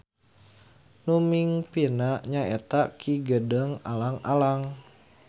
Nu mingpinna nyaeta Ki Gedeng Alang-Alang.